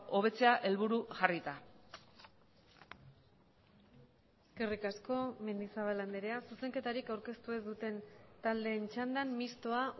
hobetzea helburu jarrita eskerrik asko mendizabal andrea zuzenketarik aurkeztu ez duten taldeen txandan mistoa